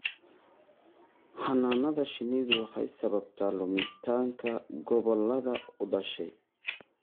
Xannaanada shinnidu waxay sababtaa lumitaanka gobollada u dhashay.